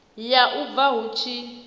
ya u bua hu tshi